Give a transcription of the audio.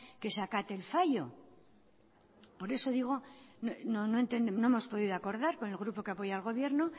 que se acate el fallo por eso digo no hemos podido acordar con el grupo que apoya al gobierno